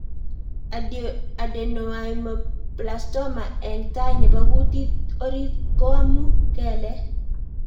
Adenoameloblastoma eng'tai nepo kutit orit ko amuu kelek